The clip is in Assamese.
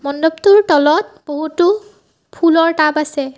মণ্ডপটোৰ তলত বহুতো ফুলৰ টাব আছে।